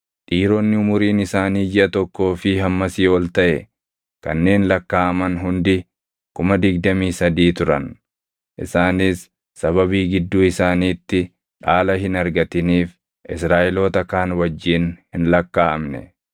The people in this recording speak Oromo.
Dhiironni umuriin isaanii jiʼa tokkoo fi hammasii ol taʼe kanneen lakkaaʼaman hundi 23,000 turan. Isaanis sababii gidduu isaaniitti dhaala hin argatiniif Israaʼeloota kaan wajjin hin lakkaaʼamne.